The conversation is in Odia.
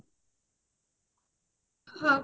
ହଁ